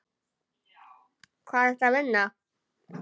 Hvar ertu að vinna?